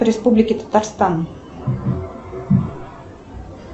республики татарстан